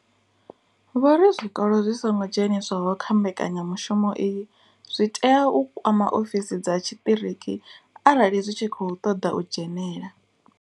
Vho ri zwikolo zwi songo dzheniswaho kha mbekanya mushumo iyi, zwi tea u kwama ofisi dza tshiṱiriki arali zwi tshi khou ṱoḓa u dzhenela.